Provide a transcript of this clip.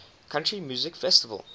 country music festival